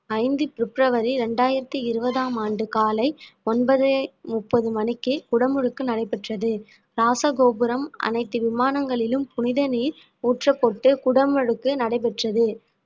ஐந்து பிப்ரவரி இரண்டாயிரத்தி இருபதாம் ஆண்டு காலை ஒன்பது முப்பது மணிக்கு குடமுழுக்கு நடைபெற்றது இராசகோபுரம் அனைத்து விமானங்களிலும் புனித நீர் ஊற்றப்பட்டு குடமுழுக்கு நடைபெற்றது